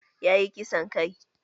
Ya yi kisan kai